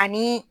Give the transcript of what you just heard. Ani